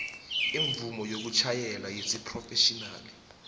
imvumo yokutjhayela yesiphrofetjhinali